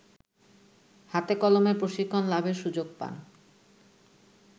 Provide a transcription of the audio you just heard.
হাতেকলমে প্রশিক্ষণ লাভের সুযোগ পান